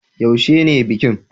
Yaushe ne bikin?